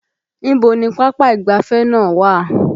Ibo ni pápá ìgbáfẹ́ náà wà?